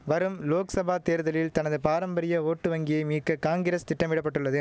வரும் லோக்சபா தேர்தலில் தனது பாரம்பரிய ஓட்டு வங்கியை மீக்க காங்கிரஸ் திட்டமிட பட்டுள்ளது